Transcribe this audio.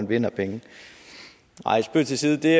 vinde penge nej spøg til side det